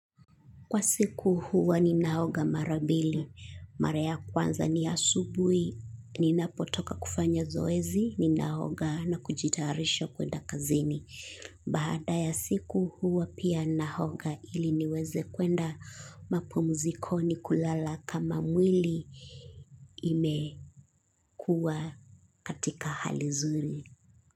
Kwa siku huwa ninaoga mara mbili, mara ya kwanza ni asubuhi, ninapotoka kufanya zoezi, ninaoga na kujitarisha kwenda kazini. Baada ya siku huwa pia naoga ili niweze kuenda mapumzikoni kulala kama mwili imekuwa katika hali zuri.